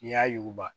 N'i y'a yuguba